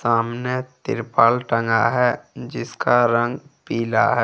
सामने तिरपाल टंगा है जिसका रंग पीला है।